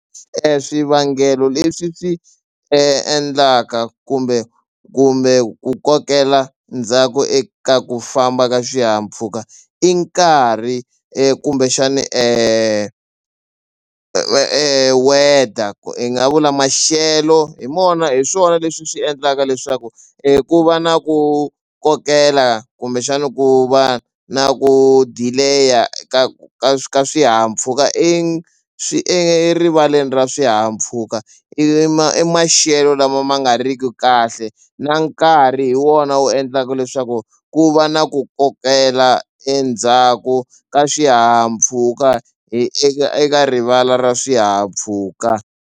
Swivangelo leswi swi endlaka kumbe kumbe ku kokela ndzhaku eka ku famba ka swihahampfhuka i nkarhi kumbexani weather ku hi nga vula maxelo hi mona hi swona leswi swi endlaka leswaku i ku va na ku kokela kumbexana ku va na ku delay-a ka ka ka swihahampfhuka i swi erivaleni ra swihahampfhuka i ma i maxelo lama ma nga riki kahle na nkarhi hi wona wu endlaka leswaku ku va na ku kokela endzhaku ka swihahampfhuka eka rivala ra swihahampfhuka.